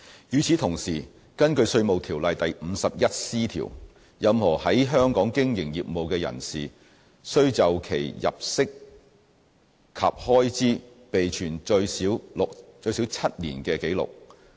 與此同時，根據《稅務條例》第 51C 條，任何在香港經營業務的人士須就其入息及開支備存最少7年的紀錄。